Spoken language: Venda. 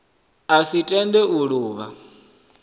a si tende u luvha